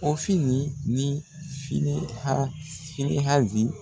Ofini ni Fini hɔ finihazi.